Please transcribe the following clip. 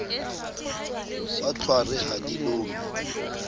wa tlhware ha di lome